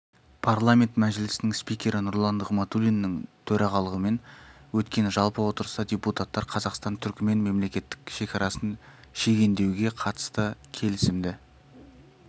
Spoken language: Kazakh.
парламент мәжілісінің спикері нұрлан нығматулиннің төрағалығымен өткен жалпы отырыста депутаттар қазақстан-түрікмен мемлекеттік шекарасын шегендеуге қатысты келісімді